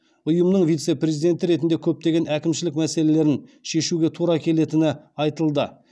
ұйымның вице президенті ретінде көптеген әкімшілік мәселелерін шешуге тура келетіні айтылды